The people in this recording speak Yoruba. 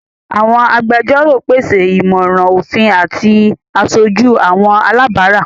Àwọn àgbẹjọro pese imọran ofin ati àṣoju àwọn alabara.